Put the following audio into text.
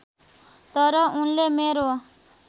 तर उनले मेरो